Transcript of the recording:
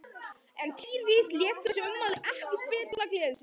En Týri lét þessi ummæli ekki spilla gleði sinni.